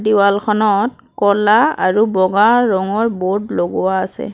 ৱালখনত ক'লা আৰু বগা ৰঙৰ বোৰ্ড লগোৱা আছে।